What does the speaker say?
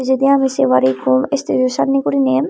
pijedi aro sey pari ikko stejo sanne gurine.